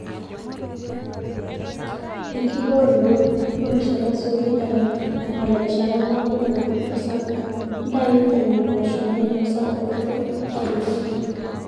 enkibooroto; tuunisho tasioki eton eng'or erishata naaku orkurto sapuk. ntau nena poosho naainosa orkurto tapejoi